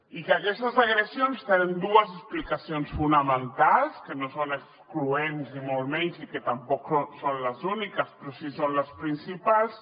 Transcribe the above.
i que aquestes agressions tenen dues explicacions fonamentals que no són excloents ni molt menys i que tampoc són les úniques però sí que són les principals